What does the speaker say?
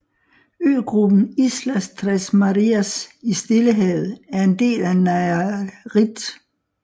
Øgruppen Islas Tres Marias i Stillehavet er en del af Nayarit